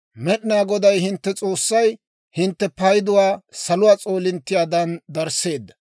Med'inaa Goday hintte S'oossay hintte payduwaa saluwaa s'oolinttiyaadan darisseedda.